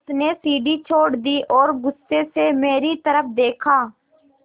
उसने सीढ़ी छोड़ दी और गुस्से से मेरी तरफ़ देखा